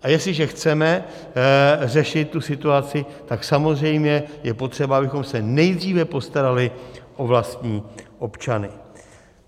A jestliže chceme řešit tu situaci, tak samozřejmě je potřeba, abychom se nejdříve postarali o vlastní občany.